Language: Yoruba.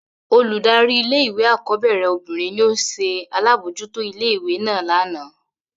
Oludari ìlé-ìwé akọbẹrẹ obinrin ni o ṣe alabojuto ìlé-ìwé náa làná.